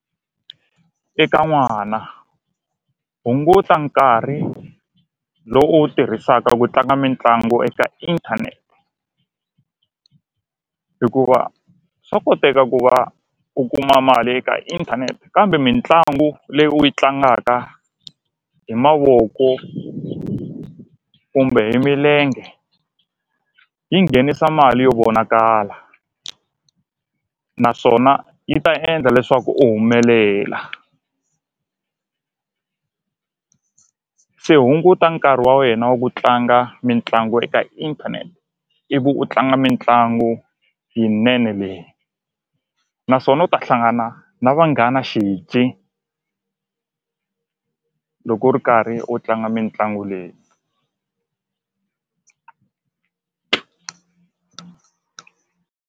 Eka n'wana hunguta nkarhi lowu u wu tirhisaka ku tlanga mitlangu eka inthanete hikuva swa koteka ku va u kuma mali eka inthanete kambe mitlangu leyi u yi tlangaka hi mavoko kumbe hi milenge yi nghenisa mali yo vonakala naswona yi ta endla leswaku u humelela se hunguta nkarhi wa wena wa ku tlanga mitlangu eka inthanete ivi u tlanga mitlangu yinene leyi naswona u ta hlangana na vanghana xizi loko u ri karhi u tlanga mitlangu leyi.